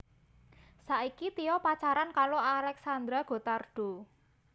Saiki Tyo pacaran karo Alexandra Gottardo